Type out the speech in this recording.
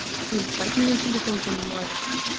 ебать меня телефон понимает